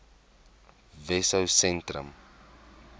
wessosentrum